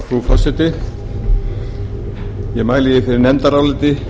frú forseti ég mæli fyrir nefndaráliti